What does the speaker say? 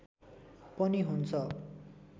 पनि हुन्छ